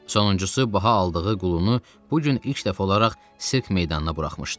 Sonuncusu baha aldığı qulunu bu gün ilk dəfə olaraq sirk meydanına buraxmışdı.